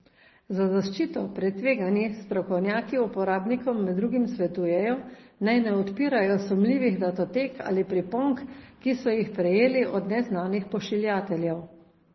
Za zaščito pred tveganji strokovnjaki uporabnikom med drugim svetujejo, naj ne odpirajo sumljivih datotek ali priponk, ki so jih prejeli od neznanih pošiljateljev.